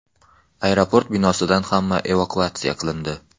Aeroport binosidan hamma evakuatsiya qilindi.